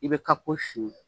I bɛ kako siɲɛn